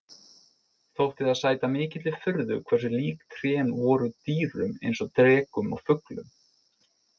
Þótti það sæta mikilli furðu hversu lík trén voru dýrum eins og drekum og fuglum.